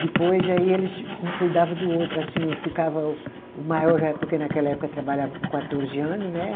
Depois, aí eles um cuidava do outro, assim, eu ficava o o maior já, porque naquela época trabalhava com quatorze anos, né?